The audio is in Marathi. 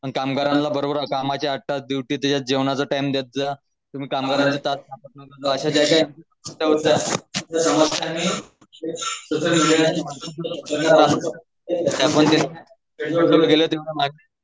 आणि कामगारांना बरोबर कामाच्या आठ तास ड्युटी जेवणाचं टाइम देत जा. तुम्ही